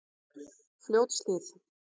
Fljótshlíð